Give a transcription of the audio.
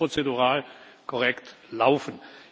So müsste es prozedural korrekt laufen.